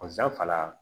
la